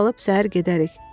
Meşədə qalıb səhər gedərik.